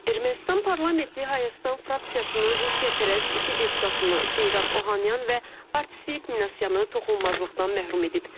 Ermənistan parlamenti Hayastan fraksiyasının Rusiyapərəst iki deputatını, Seyran Ohanyan və Artsvik Minasyanı toxunulmazlıqdan məhrum edib.